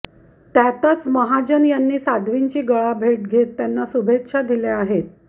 त्यातच महाजन यांनी साध्वींची गळाभेट घेत त्यांना शुभेच्छा दिल्या आहेत